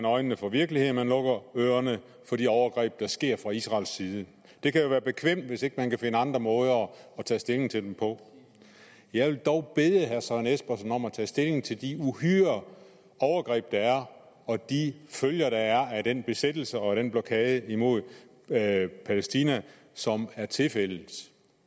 øjnene for virkeligheden man lukker ørerne for de overgreb der sker fra israels side det kan jo være bekvemt hvis man ikke kan finde andre måder at tage stilling til dem på jeg vil dog bede herre søren espersen om at tage stilling til de uhyre overgreb og de følger der er af den besættelse og den blokade imod palæstina som er tilfældet